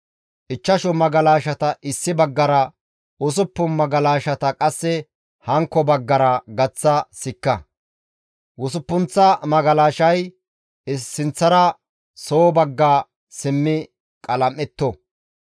Ichchashu magalashata issi baggara usuppun magalashata qasse hankko baggaara gaththa sikka. Usuppunththa magalashay sinththara soo bagga simmi qalam7etto.